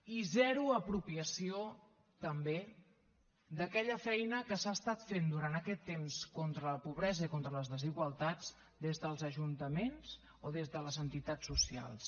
i zero apropiació també d’aquella feina que s’ha estat fent durant aquest temps contra la pobresa i contra les desigualtats des dels ajuntaments o des de les entitats socials